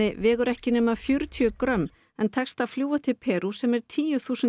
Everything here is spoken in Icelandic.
vegur ekki nema fjörutíu grömm en tekst að fljúga til Perú sem er tíu þúsund